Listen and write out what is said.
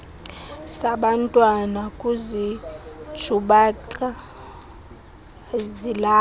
zabantwana kuzinjubaqa zilapha